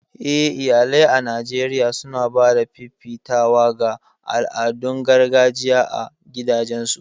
Eh iyalai a Najeriya suna ba da fifitawa ga al'adun gargajiya a gidajensu